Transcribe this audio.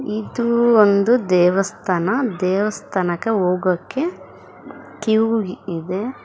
ಇದು ಒಂದು ದೇವಸ್ಥಾನ ದೇವಸ್ಥಾನಕ ಹೋಗಕೆ ಕ್ಯೂ ಇದೆ.